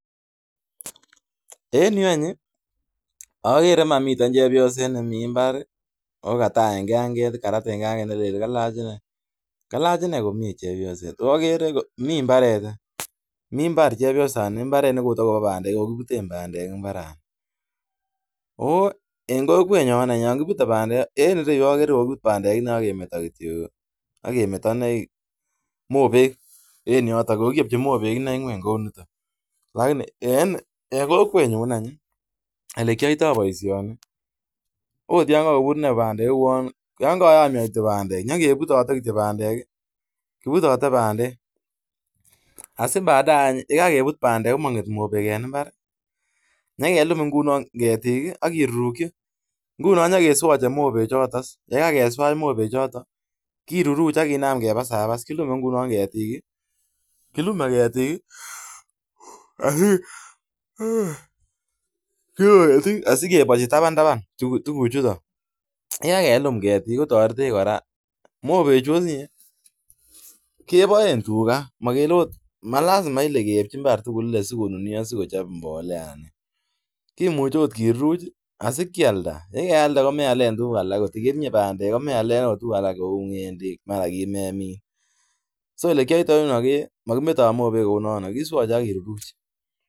Mi chebyoset ne mi imbar, ago kalach komie. Mi imbar ne kagiputen bandek. En kokwenyon, yen kipute bandek ake meta kityo mopek en yoton. En kokwenyon ele kiaite baisioni, kipute koto bandek. Si baadaye ye kageput bandek ng'ete mopek. Nye kelum any ketik aki rukchi, nguno any, kiamache mopek choto, ki ruruch ak kenam kebaa awas. Kilume ketik taban taban. Mopek chuto, kebaen tuga, ana ialda si alen tuguk age.